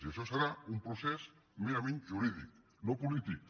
i això serà un procés merament jurídic no polític